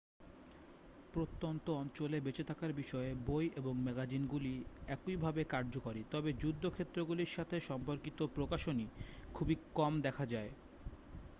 প্রত্যন্ত অঞ্চলে বেঁচে থাকার বিষয়ে বই এবং ম্যাগাজিনগুলি একইভাবে কার্যকরী তবে যুদ্ধ ক্ষেত্রগুলির সাথে সম্পর্কিত প্রকাশনী খুবই কম দেখা যায়